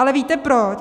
Ale víte proč?